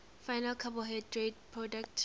final carbohydrate products